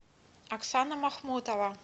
оксана махмутова